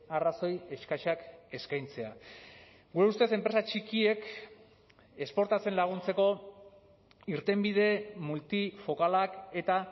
arrazoi eskasak eskaintzea gure ustez enpresa txikiek esportatzen laguntzeko irtenbide multifokalak eta